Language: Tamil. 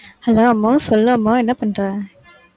hello அம்மு சொல்லு அம்மு என்ன பண்ற